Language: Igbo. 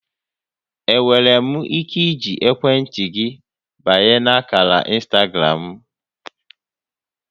Enwere m ike iji ekwentị gị banye ákàrà ịnstagram m?